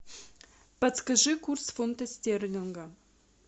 подскажи курс фунта стерлинга